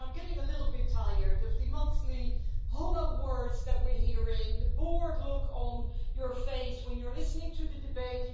I am getting a little bit tired, Mr Tusk, of the monthly hollow words that we are hearing, of the bored look on your face when you are listening to the debate.